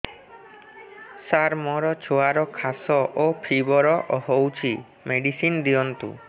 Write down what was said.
ସାର ମୋର ଛୁଆର ଖାସ ଓ ଫିବର ହଉଚି ମେଡିସିନ ଦିଅନ୍ତୁ